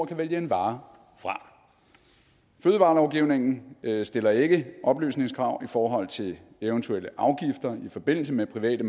kan vælge en vare fra fødevarelovgivningen stiller ikke oplysningskrav i forhold til eventuelle afgifter i forbindelse med private